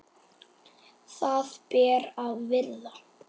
Það ber að virða.